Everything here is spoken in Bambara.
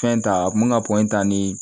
Fɛn ta a kun mi ka ta ni